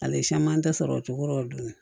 Ale siman tɛ sɔrɔ o cogo la dun